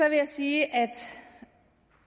jeg sige at